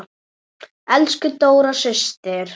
Elsku Dóra systir.